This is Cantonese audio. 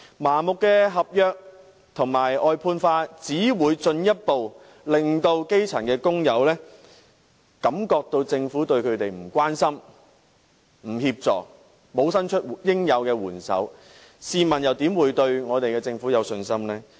麻木地把服務合約化和外判化，只會進一步令基層工友覺得政府對他們漠不關心，沒有提供協助，沒有伸出應有的援手，試問他們又怎會對我們的政府有信心呢？